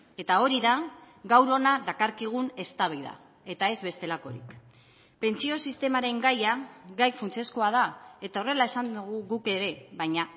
eta hori da gaur hona dakarkigun eztabaida eta ez bestelakorik pentsio sistemaren gaia gai funtsezkoa da eta horrela esan dugu guk ere baina